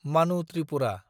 मानु ट्रिपुरा